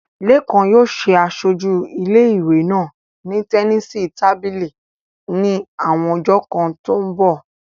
Lékan yóò ṣe aṣojú ilé ìwé náà ní tẹníìsì tábìlì ní àwọn ọjọ́ kan tó ń bọ̀